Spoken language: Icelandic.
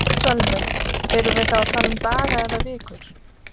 Sölvi: Erum við þá að tala um daga eða vikur?